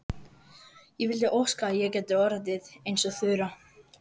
Ég vildi óska að ég gæti orðið eins og Þura.